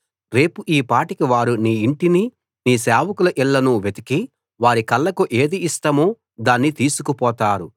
రేపు ఈ పాటికి వారు నీ ఇంటినీ నీ సేవకుల ఇళ్లనూ వెతికి వారి కళ్ళకు ఏది ఇష్టమో దాన్ని తీసుకుపోతారు